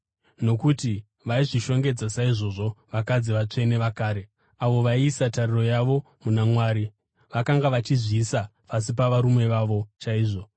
Nokuti vaizvishongedza saizvozvi vakadzi vatsvene vakare avo vaiisa tariro yavo muna Mwari. Vakanga vachizviisa pasi pavarume vavo chaivo,